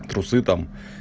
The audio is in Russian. трусы там